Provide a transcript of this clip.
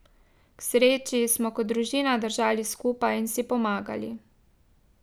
K sreči smo kot družina držali skupaj in si pomagali.